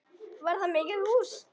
Var það mikið hús.